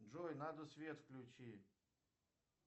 джой надо свет включить